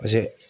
Paseke